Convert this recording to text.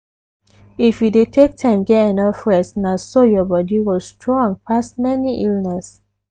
if you dey take time get enough rest na so your body go strong pass many illness.